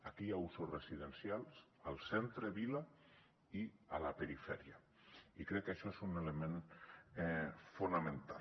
aquí hi ha usos residencials al centre vila i a la perifèria i crec que això és un element fonamental